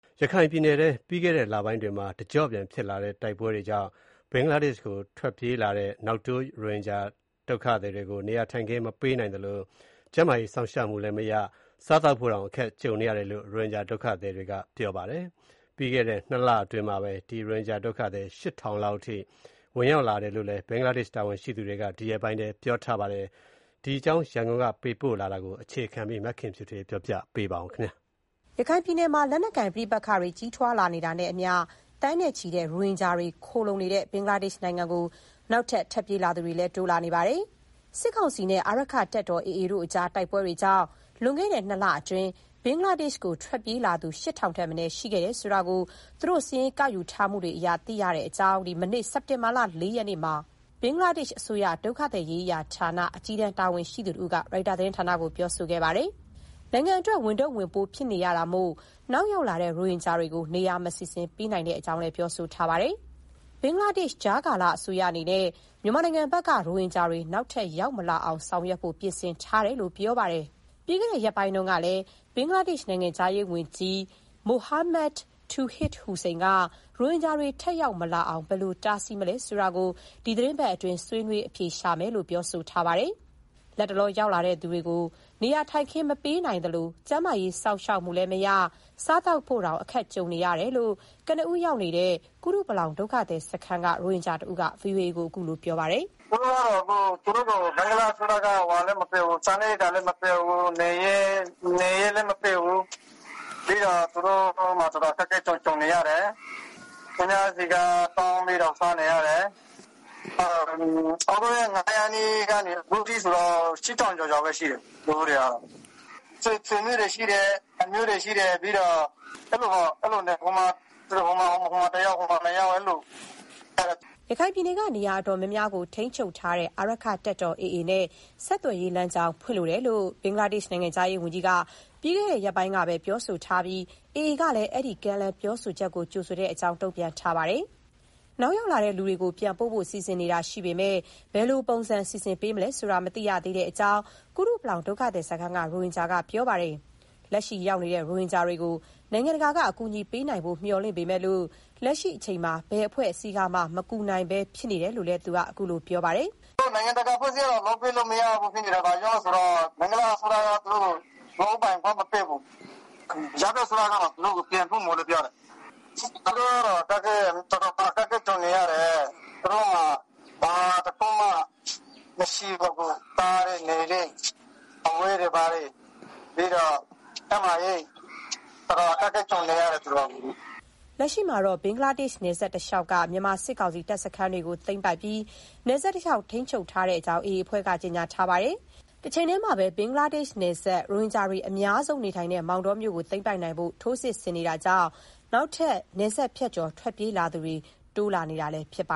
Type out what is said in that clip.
ရခိုင်ပြည်နယ်အတွင်း ပြီးခဲ့တဲ့လပိုင်းတွေမှာ တကျော့ပြန်ဖြစ်လာတဲ့ တိုက်ပွဲတွေကြောင့် ဘင်္ဂလားဒေ့ရှ်ကိုထွက်ပြေးလာတဲ့ နောက်တိုး ရိုဟင်ဂျာတွေကို နေရာထိုင်ခင်း မပေးနိုင်သလို ကျန်းမာရေး စောင့်ရှောက်မှုလည်းမရ၊ စားသောက်ဖို့တောင် အခက်ကြုံနေတယ်လို့ ရိုဟင်ဂျာတွေက ပြောပါတယ်။ ပြီးခဲ့တဲ့ ၂ လအတွင်း ရိုဟင်ဂျာဒုက္ခသည် ၈,၀၀၀ လောက် ဝင်ရောက်လာကြောင်း ဘင်္ဂလားဒေ့ရှ် တာဝန်ရှိသူတွေက ဒီရက်ပိုင်းအတွင်း ပြောဆိုထားတာပါ။ ရန်ကုန်ကပေးပို့တဲ့ ဒီသတင်းကိုတော့ မခင်ဖြူထွေးက တင်ပြပေးထားပါတယ်။ ရခိုင်ပြည်နယ်မှာ လက်နက်ကိုင် ပဋိပက္ခတွေ ကြီးထွားလာနေတာနဲ့အမျှ သန်းနဲ့ချီတဲ့ ရိုဟင်ဂျာတွေ ခိုလှုံနေတဲ့ ဘင်္ဂလား ဒေ့ရှ် နိုင်ငံကို နောက်ထပ် ထွက်ပြေးသူတွေ တိုးလာနေတာပါ။ စစ်ကောင်စီနဲ့ အာရက္ခတပ်တော် တို့အကြားက တိုက်ပွဲတွေကြောင့် လွန်ခဲ့တဲ့ နှစ်လအတွင်း ဘင်္ဂလားဒေ့ရှ်ကို ထွက်ပြေးလာသူ ၈,၀၀၀ ထက်မနည်း ရှိခဲ့တယ်ဆိုတာ သူတို့ စာရင်းကောက်ယူထားမှုတွေအရ သိရတဲ့အကြောင်း မနေ့ စက်တင်ဘာ ၄ ရက်နေ့မှာ ဘင်္ဂလားဒေ့ရှ်အစိုးရ ဒုက္ခသည်ရေးရာဌာန အကြီးတန်း တာဝန်ရှိသူတဦးက ရိုက်တာသတင်းဌာနကို ပြောဆိုလိုက်ပါတယ်။ နိုင်ငံအတွက် ဝန်ထုပ်ဝန်ပိုး ဖြစ်နေရတာမို့ နောက်ရောက်လာတဲ့ ရိုဟင်ဂျာတွေကို နေရာမစီစဉ်ပေးနိုင်ကြောင်းလည်း ပြောဆိုထားပါတယ်။ ဘင်္ဂလားဒေ့ရှ် ကြားကာလအစိုးအနေနဲ့ မြန်မာနိုင်ငံဘက်က ရိုဟင်ဂျာတွေ နောက်ထပ်ရောက်မလာနိုင်အောင် ဆောင်ရွက်ဖို့ ပြင်ဆင်ထားတဲ့အကြောင်း ဆိုပါတယ်။ ပြီးခဲ့တဲ့ရက်ပိုင်းကလည်း ဘင်္ဂလားဒေ့ရှ် နိုင်ငံခြားရေးဝန်ကြီး Mohammad Touhid Hossain က ရိုဟင်ဂျာတွေထပ်ရောက်မလာအောင် ဘယ်လို တားဆီးမလဲဆိုတာကို ဒီသတင်းပတ်အတွင်း ဆွေးနွေးအဖြေရှာမယ်လို့လည်း ပြောဆိုထားပါတယ်။ လတ်တလောရောက်လာတဲ့ ဒီလူတွေကို နေရာထိုင်ခင်းမပေးနိုင်သလို ကျန်းမာရေး စောင့်ရှောက်မှုလည်းမရ၊ စားသောက်ဖို့တောင် အခက်ကြုံနေတယ်လို့ ကနဦးရောက်နေတဲ့ ကုတုပလောင် ဒုက္ခသည်စခန်းနေ ရိုဟင်ဂျာတဦးက ဗွီအိုအေကို ခုလိုပြောပြတယ်။ “သူတို့ကို ဘင်္ဂလားအစိုးရက စားနပ်ရိက္ခာလည်းမပေးဘူး၊ နေစရာလည်းမပေးဘူး၊ သူတို့မှာ အခက်အခဲကြုံနေရတယ်။ သူများဆီက တောင်းစားနေရတယ်။ ဩဂုတ် ၂ရက်နေ့ကနေ ဒီနေ့ထိဆို ၈,၀၀၀ကျော်ကျော် ရှိတယ်။ သူတို့တွေက ဆွေမျိုးတွေရှိတယ်၊ အမျိုးတွေရှိတယ်။ အဲလိုပေါ့ ဟိုမှာတယောက် ဒီမှာ ၂ယောက် အဲလိုနေနေရတယ်။” ရခိုင်ပြည်နယ်က နေရာတော်တော်များများကို ထိန်းချုပ်ထားတဲ့ အာရက္ခတပ်တော် AA နဲ့ ဆက်သွယ်ရေးလမ်းကြောင်း ဖွင့်လိုတယ်လို့ ဘင်္ဂလားဒေရှ် နိုင်ငံခြားရေး ဝန်ကြီးဌာန အကြီးအကဲက ပြီးခဲ့တဲ့ရက်ပိုင်းက ပြောဆိုထားပြီး AA ကလည်း အဲဒီလို ကမ်းလှမ်း ပြောဆိုမှုကို ကြိုဆိုကြောင်း တုန့်ပြန်ထားပါတယ်။ နောက်ရောက်လာတဲ့လူတွေကို ပြန်ပို့ဖို့ စီစဉ်နေတာရှိပေမယ့် ဘယ်လိုပုံစံ စီစဉ်ပေးမလဲဆိုတာ မသိရသေးတဲ့အကြောင်း ကုတုပလောင် ဒုက္ခသည်စခန်းက ရိုဟင်ဂျာက ပြောပါတယ်။ လက်ရှိရောက်လာတဲ့ ရိုဟင်ဂျာတွေကို နိုင်ငံတကာက အကူအညီပေးနိုင်ဖို့ မျှော်လင့်ပေမယ့် လက်ရှိအချိန်မှာ ဘယ်အဖွဲ့ကမှ မကူညီနိုင်ဘူးဖြစ်နေတယ်လို့ သူက အခုလို ဆက်ပြောပါတယ်။ “နိုင်ငံတကာအဖွဲ့အစည်းတွေကလည်း လုပ်ပေးလို့မရ ဖြစ်နေတယ်။ ဘာလို့ဆို ဘင်္ဂလားအစိုးရက သူတို့ကို လုပ်ပိုင်ခွင့်မပေးဘူး။ ကြားဖြတ်အစိုးရက သူတို့ကို ပြန်ပို့မယ်ပြောတယ်။ သူတို့ကတော့ တော်တော်အခက်အခဲ ကြုံနေရတယ်။ သူတို့မှာ ဘာမှ မရှိတော့ဘူး။ စားဖို့ နေဖို့ အဝတ်တွေ ဘာတွေလည်းမရှိတော့ဘူး။ နောက် ကျန်းမာရေးပိုင်း တော်တော်လေး အခက်အခဲကြုံနေရတယ်။” လက်ရှိမှာတော့ ဘင်္ဂလားဒေရှ့် နယ်စပ်တလျောက်က မြန်မာစစ်ကောင်စီတပ်စခန်းတွေကို သိမ်းပိုက်ပြီး နယ်စပ်တလျှောက် ထိန်းချုပ်ထားကြောင်း AA အဖွဲ့က ကြေညာထားပါတယ်။ တချိန်တည်းမှာပဲ ဘင်္ဂလားဒေ့ရှ်နယ်စပ် ရိုဟင်ဂျာတွေ အများဆုံးနေထိုင်တဲ့ မောင်တောမြို့ကို သိမ်းပိုက်နိင်ဖို့ ထိုးစစ်ဆင်နေတာကြောင့် နောက်ထပ် နယ်စပ်ဖြတ်ကျော် ထွက်ပြေးသူတွေ တိုးလာနေတာ ဖြစ်ပ